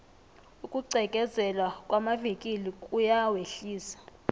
ukugqekezelwa kwamavikili kuyawehlisa